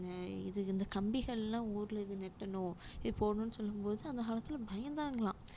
அஹ் இது இந்த கம்பிகள் எல்லாம் ஊர்ல இது நெட்டணும் இது போடணும்னு சொல்லும் போது அந்த காலத்துல பயந்தாங்களாம்